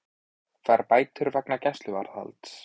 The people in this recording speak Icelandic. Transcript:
Fær bætur vegna gæsluvarðhalds